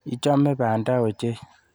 Ichame banda ochei.